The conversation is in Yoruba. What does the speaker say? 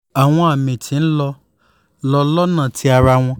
awọn ami ti n lọ lọ lọ́nà ti ara wọn